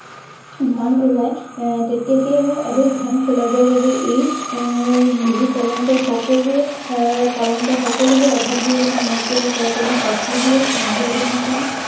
ধান ওলাই আহ তেতিয়া সেইবোৰ অধিক ধান ফুলাবৰ বাবে এই এৰ বিহু পালন কৰে, এৰ সকলোৱে এৰ পালন কৰে। সকলোৰে অভাৱবোৰ যাতে নাইকিয়া হয়, তাৰকাৰনে কাতি বিহুৰ সন্ধিয়া দিনাখন